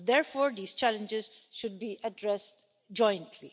So therefore, these challenges should be addressed jointly.